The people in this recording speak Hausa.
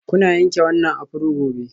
Kuna yanke wannan afro gobe.